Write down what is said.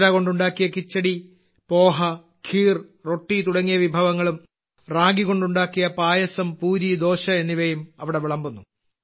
ബജ്റ കൊണ്ടുണ്ടാക്കിയ കിച്ചടി പോഹ ഖീർ റൊട്ടി തുടങ്ങിയ വിഭവങ്ങളും റാഗി കൊണ്ടുണ്ടാക്കിയ പായസം പൂരി ദോശ എന്നിവയും അവിടെ വിളമ്പുന്നു